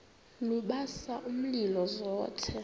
lubasa umlilo zothe